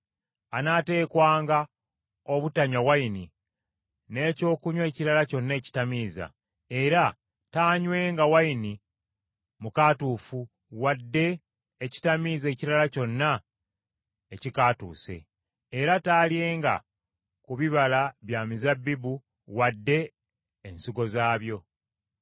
anaateekwanga obutanywa nvinnyo n’ekyokunywa ekirala kyonna ekitamiiza, era taanywenga nvinnyo wadde ekitamiiza ekirala kyonna ekikaatuuse. Era taalyenga ku bibala bya mizabbibu wadde ensigo zaabyo.